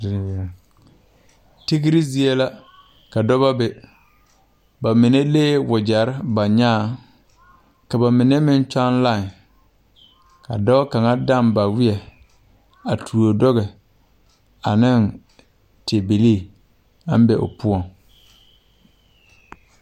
Tigre zie la ka dɔbɔ be ba mine lee wogyɛrre ba nyaaŋ ka ba mine meŋ kyɔŋ lai ka dɔɔ kaŋa tɔŋ ba weɛ a tuo duge aneŋ ti bilii aŋ be o poɔŋ.